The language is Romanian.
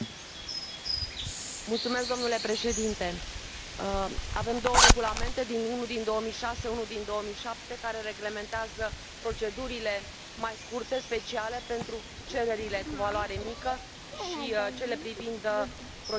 Domnule președinte, avem două regulamente unul din 2006, unul din 2007 care reglementează procedurile mai scurte, speciale pentru cererile cu valoare mică și cele privind procedura europeană de somație.